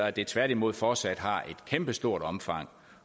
at det tværtimod fortsat har et kæmpestort omfang